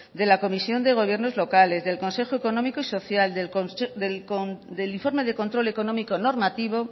de la comisión de gobiernos locales del consejo económico y social del informe de control económico normativo